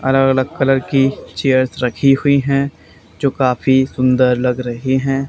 अलग अलग कलर की चेयर्स रखी हुई है जो काफी सुंदर लग रहे हैं।